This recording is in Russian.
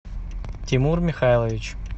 тимур михайлович